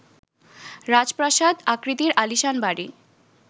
রাজপ্রাসাদ আকৃতির আলিশান বাড়ি